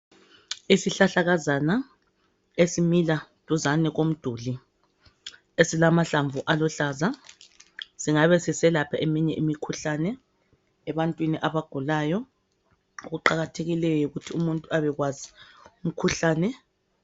Isihlahlakazana esimila duzane komduli esilamahlamvu aluhlaza. Singabe siselapha eminye imikhuhlane ebantwini abagulayo okuqakathekileyo yikuthi umuntu abekwazi umkhuhlane.